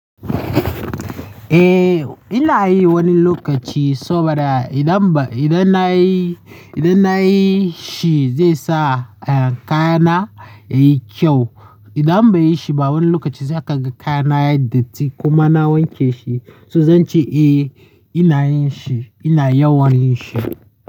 Eh ina yi wani lokaci saboda idan ba, idan na yi, idan na yi shi zai sa, eh, kaya na yayi kyau. Idan ban yi shi ba wani lokaci zai kaga kaya na yayi datti kuma na wanke shi. To zan ce eh ina yin shi, ina yawan yin shi.